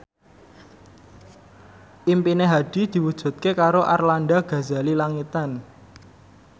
impine Hadi diwujudke karo Arlanda Ghazali Langitan